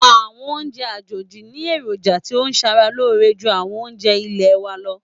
Àwọn oúnjẹ àjòjì ní èròjà tí ń ṣàrà lóore ju àwọn oúnjẹ ilẹ̀ wa lọ.